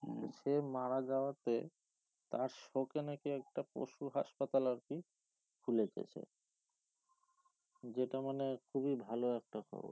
সে মারা যাওয়াতে তার শোকে নাকি একটা পশু হাসপাতাল আরকি খুলেছে যেটা মানে খুবই ভালো একটা খবর